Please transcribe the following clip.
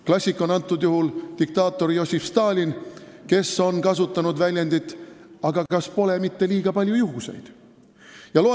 Klassik on antud juhul diktaator Jossif Stalin, kes on kasutanud väljendit: "Aga kas pole mitte liiga palju juhuseid?